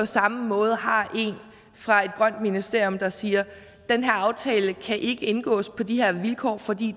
samme måde har en fra et grønt ministerium der siger den her aftale kan ikke indgås på de her vilkår fordi